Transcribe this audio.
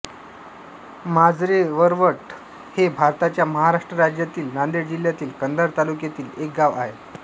माजरेवरवट हे भारताच्या महाराष्ट्र राज्यातील नांदेड जिल्ह्यातील कंधार तालुक्यातील एक गाव आहे